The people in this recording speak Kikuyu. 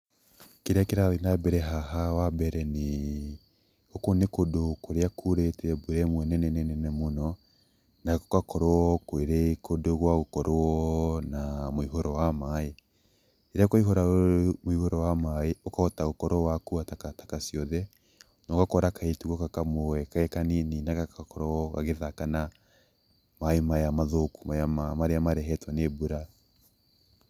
Kĩrĩa kĩrathiĩ na mbere haha wa mbere nĩ, gũkũ nĩ kũrĩa kurĩte mbura ĩrĩa nĩ nene mũno gũgakorwo kũrĩ kũndũ gwa gũkorwo na mũiyũro wa maĩ, rĩrĩa kwaiyorwo nĩ mũiyũro wa maĩ ũkahota gũkorwo wakua takataka ciothe nogakora kairĩtu ta gaka kamwe gekanini na gagakorwo gagĩthaka na maĩ maya mathũku maria marehetwo nĩ mbura.